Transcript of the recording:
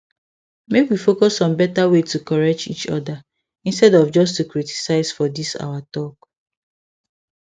make we focus on better way to correct each other instead of just to criticize for this our talk